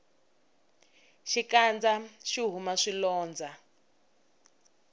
xikandza xihume swilondza